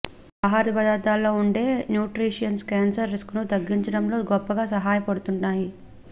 ఈ ఆహ్యార పదార్థాల్లో ఉండే న్యూట్రీషియన్స్ క్యాన్సర్ రిస్క్ ను తగ్గించడంలో గొప్పగా సహాయపడుతున్నాయి